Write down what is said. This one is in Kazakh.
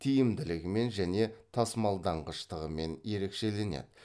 тиімділігімен және тасымалданғыштығымен ерекшеленеді